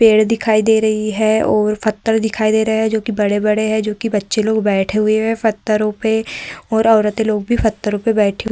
पेड़ दिखाई दे रही है और पत्थर दिखाई दे रहे हैं जो की बड़े-बड़े हैं जो कि बच्चे लोग बैठे हुए हैं पत्थरों पे और औरतें लोग भी पत्थरो पे बैठी हुई --